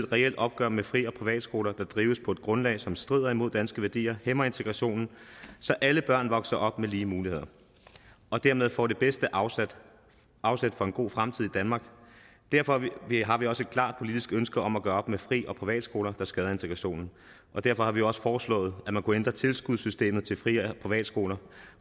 reelt opgør med fri og privatskoler der drives på grundlag som strider mod danske værdier og hæmmer integrationen så alle børn vokser op med lige muligheder og dermed får det bedste afsæt for en god fremtid i danmark derfor har vi også et klart politisk ønske om at gøre op med fri og privatskoler der skader integrationen derfor har vi også foreslået at man kunne ændre tilskudssystemet til fri og privatskoler